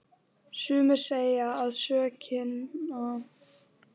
Sumir segja að sökina sé að finna hjá mæðrum okkar.